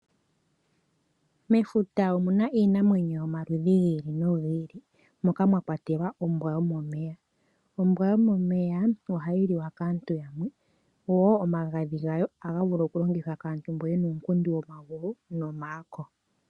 Mefuta omuna iinamwenyo yomaludhi gi ili nogi ili moka mwa kwatelwa ombwa yomomeya. Ombwa yomomeya ohayi liwa kaantu yamwe, wo omagadhi gayo ohaga vulu oku longithwa kaantu mbo yena uunkundi womagulu nomaako.